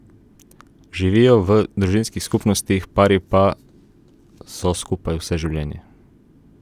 Živijo v družinskih skupnostih, pari pa so skupaj vse življenje.